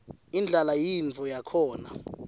indlala yintfo yakhona